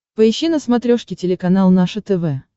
поищи на смотрешке телеканал наше тв